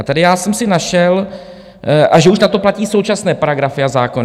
A tady já jsem si našel - a že už na to platí současné paragrafy a zákony.